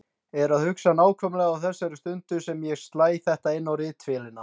Er að hugsa, nákvæmlega á þessari stundu sem ég slæ þetta inn á ritvélina